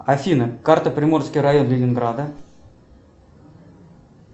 афина карта приморский район ленинграда